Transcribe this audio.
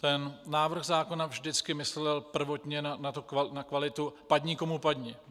Ten návrh zákona vždycky myslel prvotně na kvalitu, padni komu padni.